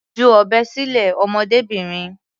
Ju ọ̀bẹ sílẹ̀, ọmọdébìnrin.